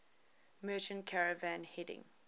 merchant caravan heading